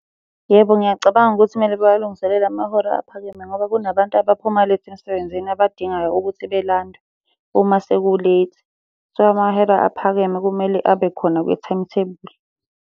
Yebo, ngiyacabanga ukuthi kumele bawalungiselele amahora aphakeme ngoba kunabantu abaphuma late emsebenzini abadingayo ukuthi belandwe uma seku late. So, amahora aphakeme kumele abe khona kwi-timetable.